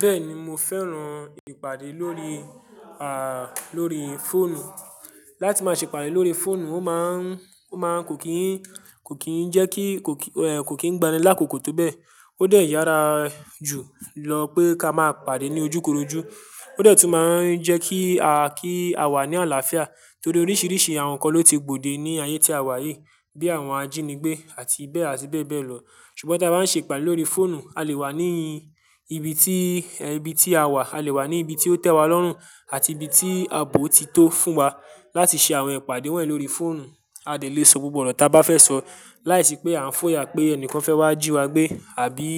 Bẹ́ẹ̀ni mo fẹ́ràn ìpàdé lórí, à, lórí fóònù. Láti máa ṣe ìpàdé lórí fóònù, ó máa ń, ó máa ń kò kí ń, kò kí ń jẹ́ kí, kò kí, eh, kò kí ń gbanilákòkò tó bẹ́ẹ̀. Ó dà ìyára jù lọ pé ká máa pàdé ní ojúkorojú. Ó dà tún má a ń jẹ́ kí a, kí a wà ní àlàáfíà torí oríṣìíríṣìí àwọn nǹkan ló ti gbòde ní ayé tí a wà yìí, bí i àwọn ajínigbé àti bẹ́ẹ̀ àti bẹ́ẹ̀ bẹ́ẹ̀ lọ. Ṣùgbọ́n tí a bá ń ṣe ìpàdé lórí fóònù, a lè wà ní ibi tí, ibi tí a wà, a lè wà ní ibi tí ó tẹ́ wa lọ́rùn àti ibi tí ààbò ti tó fún wa láti ṣe àwọn ìpàdé wọ̀nyí lórí fóònù. A lè sọ gbogbo ọ̀rọ̀ tí a bá fẹ́ sọ láìsí pé à ń fòyà pé ẹnìkan fẹ́ wá jí wa gbé àbí